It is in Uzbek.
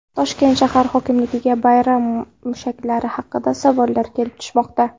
Toshkent shahar hokimligiga bayram mushaklari haqida savollar kelib tushmoqda.